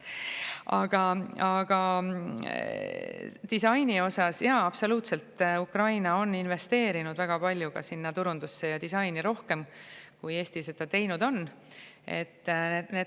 Aga disaini kohta, et jaa, absoluutselt, Ukraina on investeerinud turundusse ja disaini palju rohkem, kui Eesti seda teinud on.